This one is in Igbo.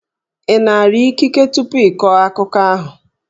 Ị nara ikike tupu ị kọọ akụkọ ahụ?